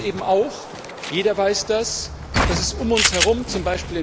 Aber wir wissen eben auch, jeder weiß das, dass es um uns herum z.